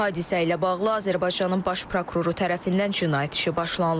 Hadisə ilə bağlı Azərbaycanın Baş Prokuroru tərəfindən cinayət işi başlanılıb.